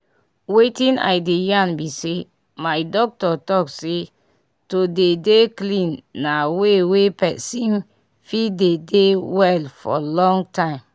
wetin i dey yan bi say my doctor talk say to dey dey clean na way wey pesin fit dey dey well for long time